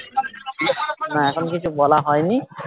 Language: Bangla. না এখন কিছু বলা হয় নি